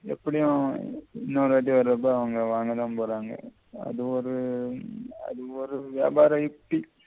எப்படியும் இன்னொரு வாட்டி வர்ரப்ப அவங்க வாங்கத்தான் போறாங்க அது ஒரு அது ஒரு வியாபார